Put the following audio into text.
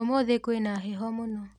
ũmũthĩ kwĩna heho mũno.